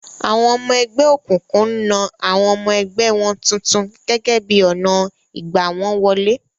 Awọn ọmọ ẹgbẹ́ òkùnkùn ń na àwọn ọmọ ẹgbẹ́ wọn tuntun gẹ́gẹ́ bí ọnà ìgbà wọ́n wọlé.